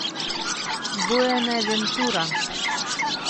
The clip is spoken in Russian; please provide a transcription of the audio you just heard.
буэнавентура